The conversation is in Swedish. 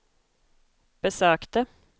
besökte